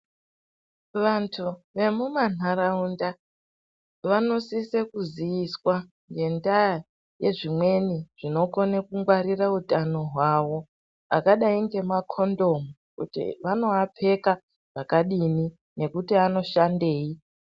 Vantu vemumanharawunda vanosise kuziyiswa ngendaya yezvimweni zvinokone kungwarira hutano hwawo, akadai ngemakhondomu kuti vanowapfeka zvakadini nekuti anoshandeyi.